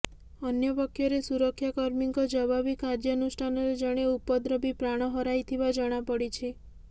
ଅନ୍ୟପକ୍ଷରେ ସୁରକ୍ଷା କର୍ମୀଙ୍କ ଜବାବି କାର୍ଯ୍ୟାନୁଷ୍ଠାନରେ ଜଣେ ଉପଦ୍ରବୀ ପ୍ରାଣ ହରାଇଥିବା ଜଣାପଡିଛି